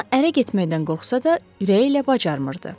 Ona ərə getməkdən qorxsa da, ürəyi ilə bacarmırdı.